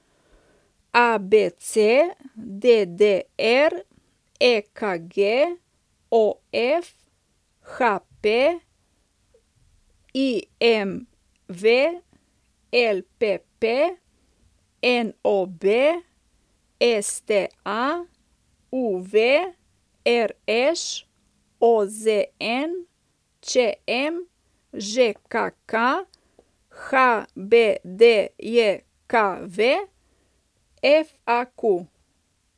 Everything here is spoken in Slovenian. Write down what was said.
ABC, DDR, EKG, OF, HP, IMV, LPP, NOB, STA, UV, RŠ, OZN, ČM, ŽKK, HBDJKV, FAQ.